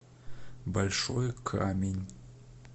большой камень